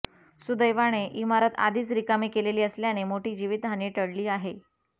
सुदैवाने इमारत आधीच रिकामी केलेली असल्याने मोठी जीवितहानी टळली आहे